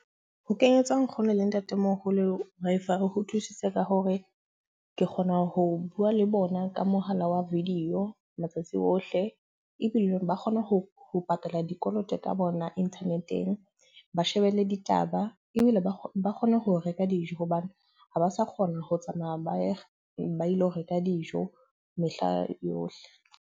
Ho kenyetsa nkgono le ntatemoholo Wi-Fi ho nthusitse ka hore ke kgona ho bua le bona ka mohala wa video matsatsi ohle. Ebile ba kgona ho patala dikoloto ka bona internet-eng. Ba shebelle ditaba ebile ba kgone ho reka dijo hobane ha ba sa kgona ho tsamaya ba ye ba ilo reka dijo mehla yohle.